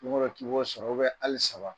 sewebe sewebe hali saba